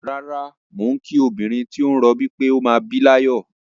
Rárá, mò ń kí obìnrin tí ó ń rọbí pé ó máa bí láyọ̀.